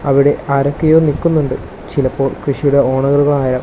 അവിടെ ആരൊക്കെയോ നിക്കുന്നുണ്ട് ചിലപ്പോൾ കൃഷിയുടെ ഓണറുകളാ --